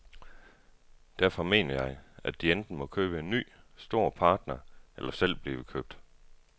Derfor mener jeg, at de enten må købe en ny, stor partner eller selv blive købt.